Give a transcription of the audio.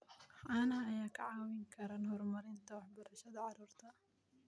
Caanaha ayaa kaa caawin kara horumarinta waxbarashada carruurta.